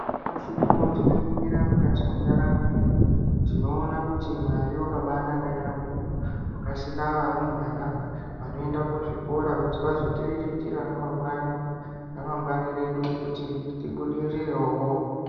Nyamashi uno tikaringira mukati mendaramo yedu tinoona kuti Mwari wakaabanaka yambo. Wakasika varumbwana vanoenda kuzvikora kuti vazotiriritira ramangwani redu kuti ribudirirewo.